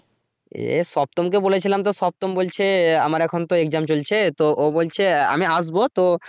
এ সত্তম কে বলেছিলাম তো সত্তম বলছে আহ আমার এখন তো exam চলছে তো ও বলছে আমি আসব তো